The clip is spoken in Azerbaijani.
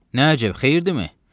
Nə əcəb, xeyirdimi?